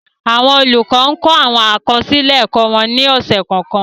Awọn olukọ ǹ kọ awọn akọsilẹ ẹkọ wọn ni ọsẹ kọọkan